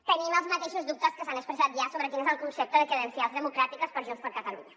tenim els mateixos dubtes que s’han expressat ja sobre quin és el concepte de credencials democràtiques per junts per catalunya